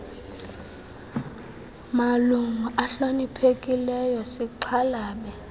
malungu ahloniphekileyo sixhalabe